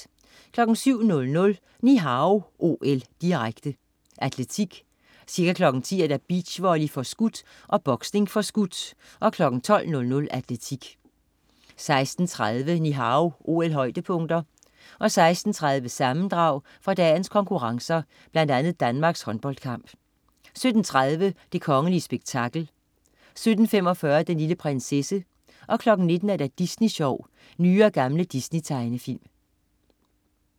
07.00 Ni Hao OL, direkte. Atletik. Ca. kl. 10.00: Beachvolley (forskudt) og boksning (forskudt). 12.00: Atletik 16.30 Ni Hao OL-højdepunkter. 16.30: Sammendrag fra dagens konkurrencer, blandt andet Danmarks håndboldkamp 17.30 Det kongelige spektakel 17.45 Den lille prinsesse 19.00 Disney Sjov. Nye og gamle Disney-tegnefilm